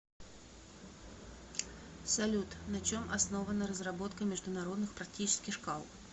салют на чем основана разработка международных практических шкал